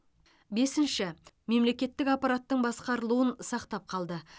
бесінші мемлекетік аппараттың басқарылуын сақтап қалды